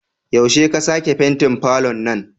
Yaushe ka sake fentin falon nan?